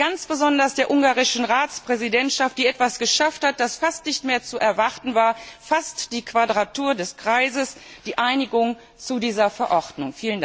Und ich danke ganz besonders der ungarischen Ratspräsidentschaft, die etwas geschafft hat, was fast nicht mehr zu erwarten war, fast die Quadratur des Kreises die Einigung zu dieser Verordnung.